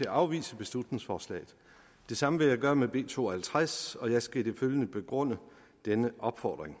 at afvise beslutningsforslaget det samme vil jeg gøre med b to og halvtreds og jeg skal i det følgende begrunde denne opfordring